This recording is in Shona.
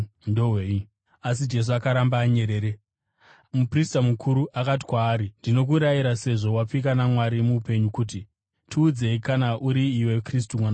Asi Jesu akaramba anyerere. Muprista mukuru akati kwaari, “Ndinokurayira, sezvo wapika naMwari mupenyu, kuti, ‘Tiudze kana uri iwe Kristu, Mwanakomana waMwari.’ ”